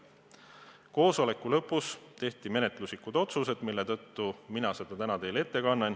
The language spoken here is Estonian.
Koosoleku lõpus tehti menetluslikud otsused, mille tõttu mina seda täna teile ette kannan.